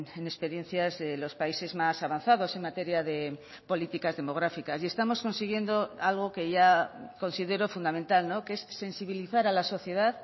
en experiencias de los países más avanzados en materia de políticas demográficas y estamos consiguiendo algo que ya considero fundamental que es sensibilizar a la sociedad